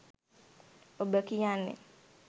ඔබ කියන්නේ